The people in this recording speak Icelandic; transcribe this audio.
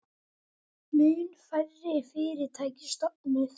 Mun færri fyrirtæki stofnuð